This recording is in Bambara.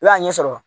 I b'a ɲɛsɔrɔ